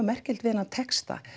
merkilegt við þennan texta